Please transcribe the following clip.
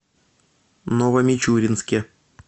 новомичуринске